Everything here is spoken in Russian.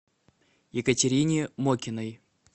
екатерине мокиной